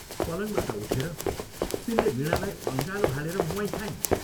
पलङबाट उठेर तिनले वीणालाई अँगालो हालेर म्वाइँ खाइन्।